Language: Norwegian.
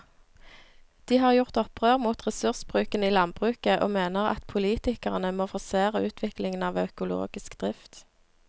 De har gjort opprør mot ressursbruken i landbruket og mener at politikerne må forsere utviklingen av økologisk drift.